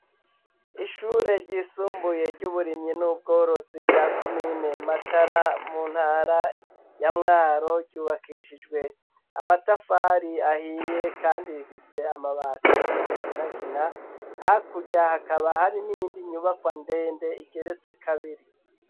Ishure ryisumbuye ry'uburimyi n'ubworozi rya komine matara mu ntara ya mwaro, ryubakishijwe amatafari ahiye ,kandi rifise amabati y'umuginagina ,hakurya hakaba hari n'iyindi nyubakwa ndende igeretse kabiri.